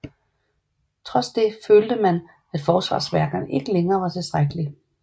Trods det følte man at forsvarsværkerne ikke længere var tilstrækkelige